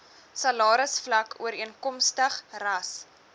salarisvlak ooreenkomstig ras